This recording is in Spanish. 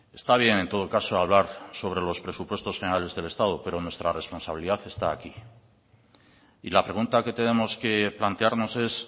está bien en todo caso hablar sobre los presupuestos generales del estado pero nuestra responsabilidad está aquí y la pregunta que tenemos que plantearnos es